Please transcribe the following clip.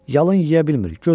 Yalın yeyə bilmir,